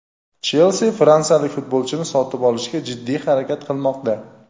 "Chelsi" fransiyalik futbolchini sotib olishga jiddiy harakat qilmoqda.